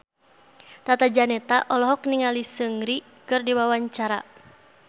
Tata Janeta olohok ningali Seungri keur diwawancara